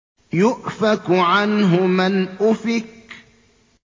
يُؤْفَكُ عَنْهُ مَنْ أُفِكَ